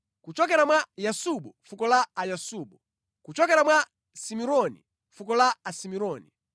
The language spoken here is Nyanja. kuchokera mwa Yasubu, fuko la Ayasubu. Kuchokera mwa Simironi, fuko la Asimironi.